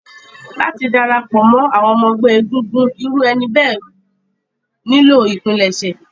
Láti dára pọ̀ mọ́ àwọn ẹgbẹ́ egungun, irú ẹni bẹ́ẹ̀ nílò ìpilẹ̀ṣẹ̀.